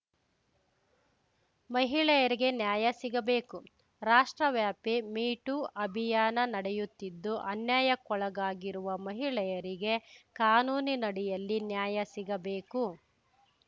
ಮಹಿಳೆಯರಿಗೆ ನ್ಯಾಯ ಸಿಗಬೇಕು ರಾಷ್ಟ್ರವ್ಯಾಪಿ ಮೀ ಟೂ ಅಭಿಯಾನ ನಡೆಯುತ್ತಿದ್ದು ಅನ್ಯಾಯಕ್ಕೊಳಗಾಗಿರುವ ಮಹಿಳೆಯರಿಗೆ ಕಾನೂನಿನಡಿಯಲ್ಲಿ ನ್ಯಾಯ ಸಿಗಬೇಕು